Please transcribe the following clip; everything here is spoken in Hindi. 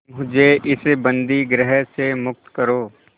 मुझे इस बंदीगृह से मुक्त करो